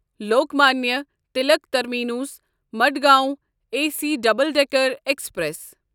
Lokmanya Tilak terminus Madgaon A C double decker express